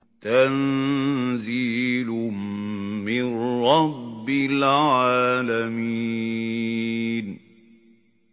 تَنزِيلٌ مِّن رَّبِّ الْعَالَمِينَ